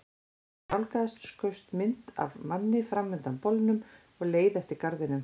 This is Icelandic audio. Þegar hann nálgaðist skaust mynd af manni fram undan bolnum og leið eftir garðinum.